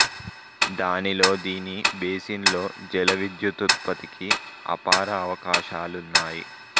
దానితో దీని బేసిన్ లో జల విద్యుతుత్పత్తికి అపార అవకాశాలున్నాయి